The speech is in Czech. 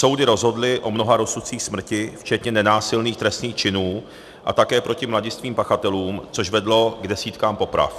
Soudy rozhodly o mnoha rozsudcích smrti, včetně nenásilných trestných činů, a také proti mladistvým pachatelům, což vedlo k desítkám poprav.